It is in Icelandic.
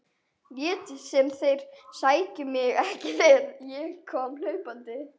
Létu sem þeir sæju mig ekki þegar ég kom hlaupandi.